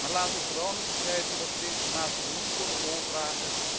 Maar laten we vooral niet vergeten dat ze de informatie niet voor de lol vragen.